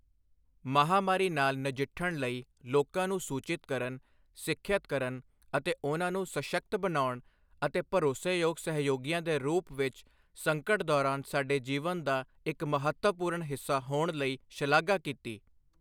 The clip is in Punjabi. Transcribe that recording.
ਮਹਾਮਾਰੀ ਨਾਲ ਨਜਿੱਠਣ ਲਈ ਲੋਕਾਂ ਨੂੰ ਸੂਚਿਤ ਕਰਨ, ਸਿੱਖਿਅਤ ਕਰਨ ਅਤੇ ਉਨ੍ਹਾਂ ਨੂੰ ਸਸ਼ਕਤ ਬਣਾਉਣ ਅਤੇ ਭਰੋਸੇਯੋਗ ਸਹਿਯੋਗੀਆਂ ਦੇ ਰੂਪ ਵਿੱਚ ਸੰਕਟ ਦੌਰਾਨ ਸਾਡੇ ਜੀਵਨ ਦਾ ਇੱਕ ਮਹੱਤਵਪੂਰਨ ਹਿੱਸਾ ਹੋਣ ਲਈ ਸ਼ਲਾਘਾ ਕੀਤੀ।